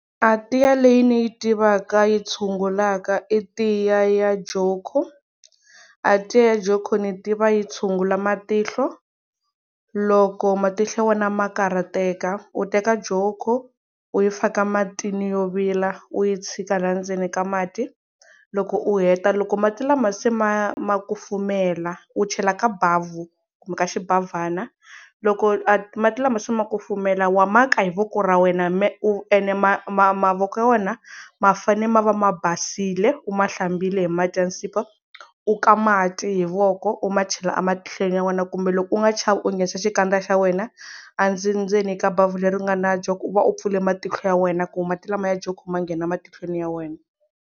A tiya leyi ni yi tivaka yi tshungulaka i tiya ya Joko, a tiya ya Joko ni tiva tshungula matihlo loko matihlo ya wena ma karhateka u teka Joko u yi faka matini yo vila u yi tshika la ndzeni ka mati loko u heta loko mati lama se ma ma kufumela u chela ka bavhu kumbe ka xibavhana loko a mati lama se ma kufumela wa ma ka hi voko ra wena u ene mavoko ya wena ma fanele ma va ma basile u ma hlambile hi mati ya nsipho u ka mati hi voko u ma chela ematlhelo ya wena kumbe loko u nga chavi u nghenisa xikandza xa wena a ndzi ndzeni ka bavhu leri nga na Joko u va u pfule matihlo ya wena ku mati lamaya ma Joko ma nghena matihlweni ya wena.